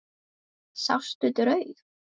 Sástu draug?